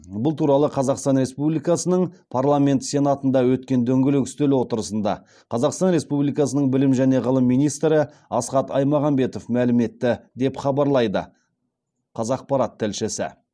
бұл туралы қазақстан республикасының парламенті сенатында өткен дөңгелек үстел отырысында қазақстан республикасының білім және ғылым министрі асхат аймағамбетов мәлім етті деп хабарлайды қазақпарат тілшісі